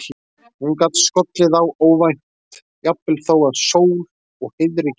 Hún gat skollið á óvænt, jafnvel þó að sól og heiðríkja væri.